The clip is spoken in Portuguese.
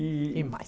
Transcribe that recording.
E e mais.